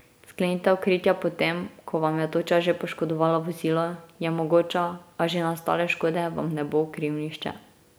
Sklenitev kritja po tem, ko vam je toča že poškodovala vozilo, je mogoča, a že nastale škode vam ne bo kril nihče.